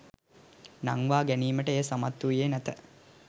නංවා ගැනීමට එය සමත් වූයේ නැත